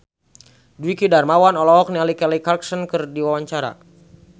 Dwiki Darmawan olohok ningali Kelly Clarkson keur diwawancara